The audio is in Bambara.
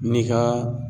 N'i ka